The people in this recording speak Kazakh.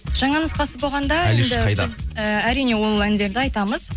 жаңа нұсқасы болғанда енді біз э әрине ол әндерді айтамыз